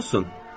Ne olsun?